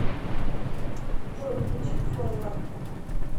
джой включи фоилар